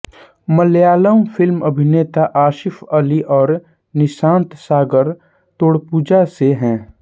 Malayalam film अभिनेता आसिफ अली और निषान्त सागर तोडुपुज़ा से हैं